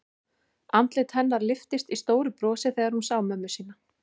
Andlit hennar lyftist í stóru brosi þegar hún sá mömmu sína.